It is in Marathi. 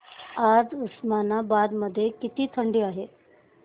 आज उस्मानाबाद मध्ये किती थंडी आहे